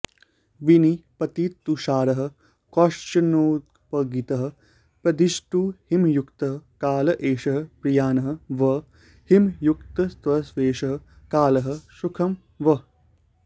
विनिपतिततुषारः क्रौञ्चनादोपगीतः प्रदिशतु हिमयुक्तः काल एषः प्रियान् वःहिमयुक्तस्त्वेष कालः सुखं वः